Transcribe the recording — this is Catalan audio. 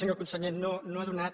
senyor conseller no ha donat